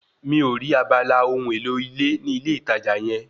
Mi ò rí abala ohun èlò ilé ní ilé ìtajà yẹ